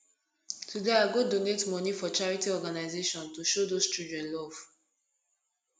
today i go donate monie for charity organization to show those children love